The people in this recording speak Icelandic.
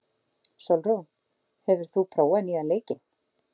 Sólrún, hefur þú prófað nýja leikinn?